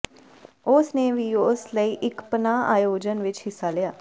ਉਸ ਨੇ ਵੀ ਉਸ ਲਈ ਇਕ ਪਨਾਹ ਆਯੋਜਨ ਵਿਚ ਹਿੱਸਾ ਲਿਆ